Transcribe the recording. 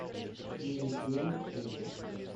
девять девять шесть